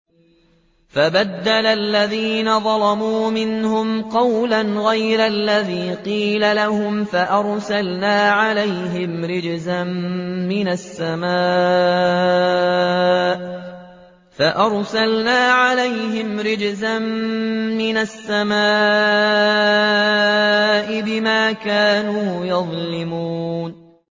فَبَدَّلَ الَّذِينَ ظَلَمُوا مِنْهُمْ قَوْلًا غَيْرَ الَّذِي قِيلَ لَهُمْ فَأَرْسَلْنَا عَلَيْهِمْ رِجْزًا مِّنَ السَّمَاءِ بِمَا كَانُوا يَظْلِمُونَ